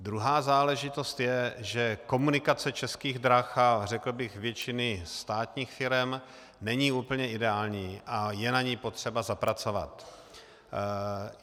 Druhá záležitost je, že komunikace Českých drah a řekl bych většiny státních firem není úplně ideální a je na ní potřeba zapracovat.